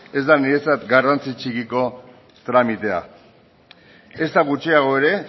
ez da niretzat garrantzi txikiko tramitea ezta gutxiago ere